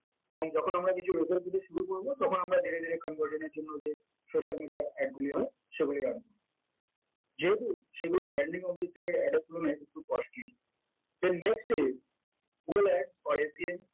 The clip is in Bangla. এবং যখন আমরা কিছু result পেতে শুরু করব তখন আমরা ধীরে ধীরে conversion এর জন্য যে social media ad গুলি হয় সেগুলি run যেহেতু সেইগুলি branding objective এর ad এর তুলনায় একটু costly then next step